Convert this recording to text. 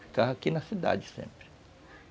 Ficava aqui na cidade sempre.